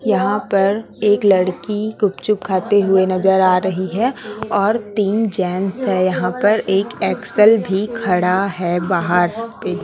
यहां पर एक लड़की गुपचुप खाते हुए नजर आ रही है और तीन जेंट्स है यहां पर एक एक्स_एल भी खड़ा है बाहर पे।